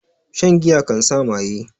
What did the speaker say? Shan giya kan sa maye